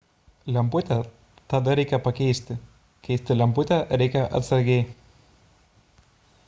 lemputę tada reikia pakeisti keisti lemputę reikia atsargiai